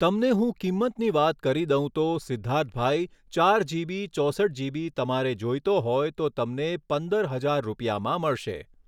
તમને હું કિંમતની વાત કરી દઉં તો સિધ્ધાર્થભાઈ ચાર જીબી ચોસઠ જીબી તમારે જોઈતો હોય તો તમને પંદર હજાર રૂપિયામાં મળશે